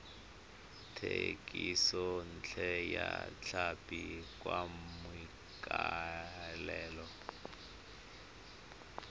thekisontle ya tlhapi ka maikaelelo